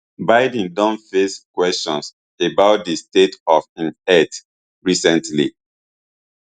biden don face kwesions about di state of im health recently